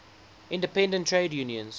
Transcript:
independent trade unions